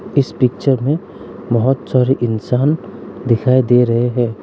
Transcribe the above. इस पिक्चर में बहुत सारे इंसान दिखाई दे रहे हैं।